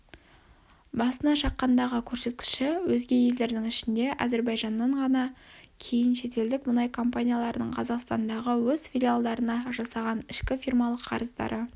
басына шаққандағы көрсеткіші өзге елдердің ішінде әзірбайжаннан ғана кейін шетелдік мұнай компанияларының қазақстандағы өз филиалдарына жасаған ішкі фирмалық қарыздары